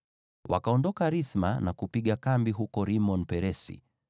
Wakaondoka Rithma na kupiga kambi huko Rimon-Peresi.